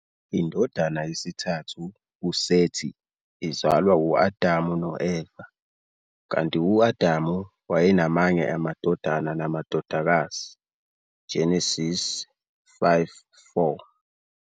Indodana yesithathu, uSeti, izalwa u-Adamu no-Eva, kanti u-Adam "wayenamanye amadodana namadodakazi", Genesis 5-4.